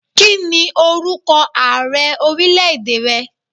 Kí ni orúkọ Ààrẹ ọrílẹ̀ èdè rẹ?